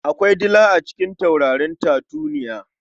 Akwai dila a cikin taurarin tatuniya.